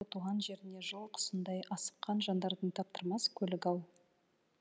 туған жеріне жыл құсындай асыққан жандардың таптырмас көлігі ау